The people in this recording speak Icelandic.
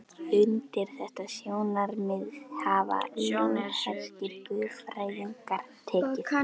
Undir þetta sjónarmið hafa lútherskir guðfræðingar tekið.